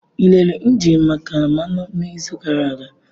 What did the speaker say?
Ị lere engine maka mmanụ n'izu gara aga?